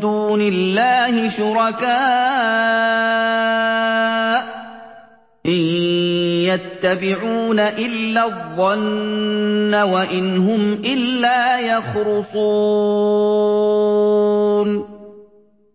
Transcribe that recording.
دُونِ اللَّهِ شُرَكَاءَ ۚ إِن يَتَّبِعُونَ إِلَّا الظَّنَّ وَإِنْ هُمْ إِلَّا يَخْرُصُونَ